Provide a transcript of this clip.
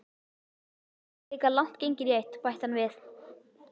Klukkan er líka langt gengin í eitt, bætti hann við.